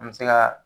An bɛ se ka